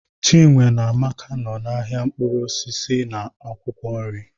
Chinwe na Amaka nọ n'ahịa mkpụrụ osisi na akwụkwọ nri